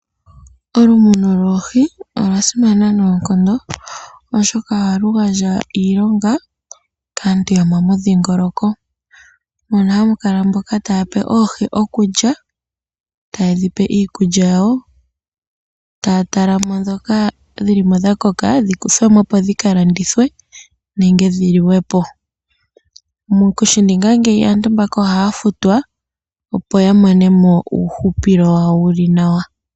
Olumuno lwoohi, olwa simana noonkondo oshoka oha lu handja iilonga kasntu yo mo mu dhingoloko, mono ha mu kala mboka ta yape oohibokulya, ta ye dhi iikulya yawo, ta ya yalamo ndhoka dhilimo dha koka dhikuthwemo opo dhi ka landithwe, nenge dhi liwepo. Moku shininga ngeyi aantu oha, ya futwa opo ya monemo uuhupilo wawo wu li nawa.